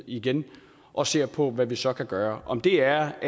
igen og ser på hvad der så kan gøres om det er